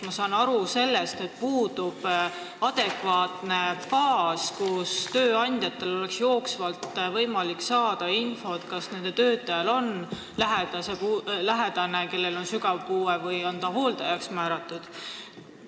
Ma saan aru, et puudub adekvaatne baas, kust tööandjatel oleks jooksvalt võimalik saada infot, kas nende töötajal on sügava puudega lähedane või kas ta on hooldajaks määratud.